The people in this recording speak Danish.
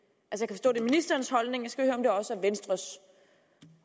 er ministerens holdning skal høre om det også er venstres